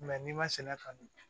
n'i ma se ka dun